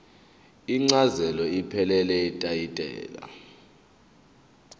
incazelo ephelele yetayitela